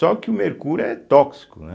Só que o mercúrio é tóxico, né?